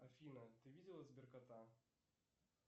афина ты видела сберкота